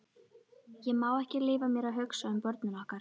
Ég má ekki leyfa mér að hugsa um börnin okkar.